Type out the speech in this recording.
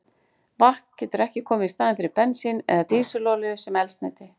Vatn getur ekki komið í staðinn fyrir bensín eða dísilolíu sem eldsneyti.